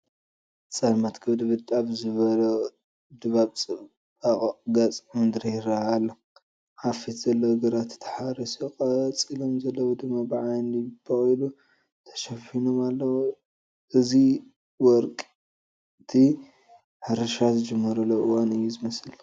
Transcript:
ፀልማት ክብድብድ ኣብ ዝበሎ ድባብ ፅቡቕ ገፀ ምድሪ ይርአ ኣሎ፡፡ ኣብ ፊት ዘሎ ግራት ተሓሪሱ ቀፂሎም ዘለዉ ድማ ብዓይኒ በቑሉ ተሸፊኖም ኣለዉ፡፡ እዚ ወቅቲ ሕርሻ ዝጅመረሉ እዋን እዩ ዝመስል፡፡